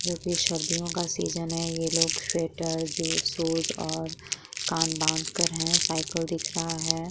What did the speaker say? जो कि सर्दियों का सीजन है। ये लोग स्वेटर शूज और कान बांधकर हैं। साइकल दिख रहा है। .